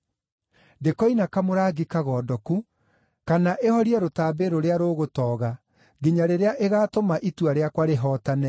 ndĩkoina kamũrangi kagondoku, kana ĩhorie rũtambĩ rũrĩa rũgũtooga, nginya rĩrĩa ĩgaatũma itua rĩakwa rĩhootane.